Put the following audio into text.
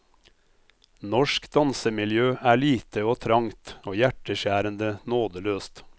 Norsk dansemiljø er lite og trangt og hjerteskjærende nådeløst.